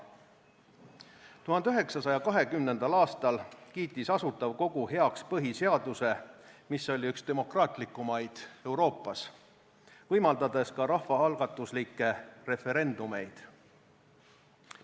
1920. aastal kiitis Asutav Kogu heaks põhiseaduse, mis oli üks demokraatlikumaid Euroopas, võimaldades ka rahvaalgatuslikke referendumeid.